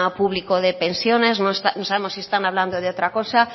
público de pensiones no sabemos si están hablando de otra cosa